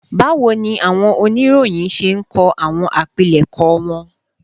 Báwo ni àwọn oníròyìn ṣe ń kọ àwọn àpilẹ̀kọ wọn